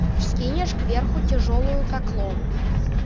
вскинешь кверху тяжёлую как лом